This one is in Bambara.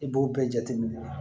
I b'o bɛɛ jateminɛ